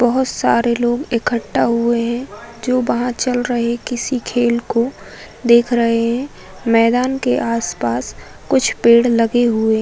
बहोत सारे लोग इकट्ठा हुए हैं जो बाहर चल रहे किसी खेल को देख रहे हैं। मैदान के आसपास कुछ पेड़ लगे हुए --